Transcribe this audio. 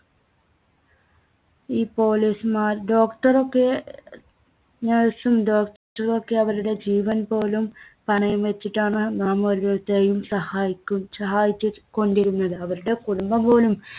ഈ police മാർ. Doctor ഒക്കെ nurse ഉം doctor ഉം ഒക്കെ അവരുടെ ജീവൻപോലും പണയംവെച്ചിട്ടാണ് നാം ഓരോരുത്തരെയും സഹായിക്കു~സഹായിച്ചുകൊണ്ടിരുന്നത്. അവരുടെ കുടുംബം പോലും